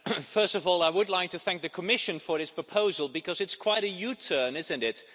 Mr President, first of all I would like to thank the Commission for this proposal, because it's quite a U turn, isn't it?